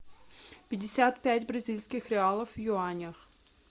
пятьдесят пять бразильских реалов в юанях